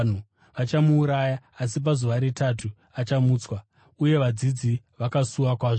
Vachamuuraya asi pazuva retatu achamutswa.” Uye vadzidzi vakasuwa kwazvo.